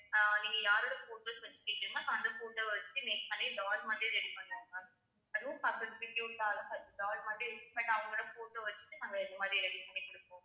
அஹ் நீங்க யாரோட photos வச்சிருக்கீங்களோ அந்த photo அ வச்சு நெக்~ அதே doll மாதிரி ready பண்ணலாம் ma'am அதுவும் பாக்கறதுக்கு cute அ அழகா doll மாதிரி but அவங்களோட photo வச்சுட்டு நாங்க இது மாதிரி ready பண்ணி கொடுப்போம்